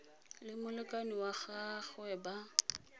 le molekane wa gagwe ba